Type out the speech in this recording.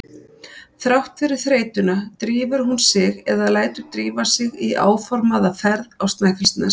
Þrátt fyrir þreytuna drífur hún sig eða lætur drífa sig í áformaða ferð á Snæfellsnes.